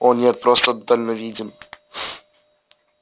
о нет просто дальновиден